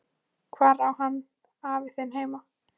Hvar á hann afi þinn heima?